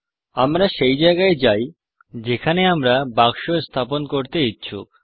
আমরা সেই জায়গায় যাই যেখানে আমরা বাক্স স্থাপন করতে ইচ্ছুক